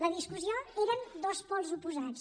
la discussió eren dos pols oposats